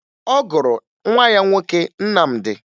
Ọ gụrụ nwa ya nwoke Nnamdi